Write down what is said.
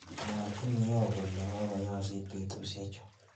mwoochi iyyoo kole kokoyoosit betushe chu